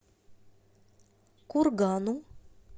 кургану